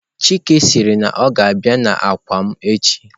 Chike siri na o ga-abia n'akwa m echi.